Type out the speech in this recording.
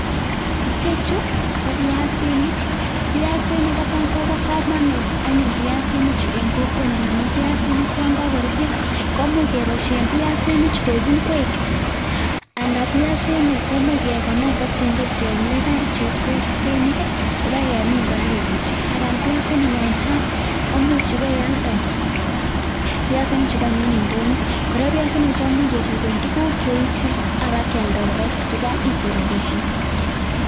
Ichechu, ko piasinik. Piasinik kotan kobo komonut anyun piasinichu en kokwenyon amun, piasinik yon kokoruryo komuch keboisien piasinichu koik ingwek ana piasinik komuch kekonor tatun koek chepkolkeinik, ipakemin kora keketyi. kora piasinik yan chang' komuch ipaialde pasinichugan en ndonyo. Kora piasinichu komuch kechopen tuguk cheu chipsi apakialda kora isich rapisiek.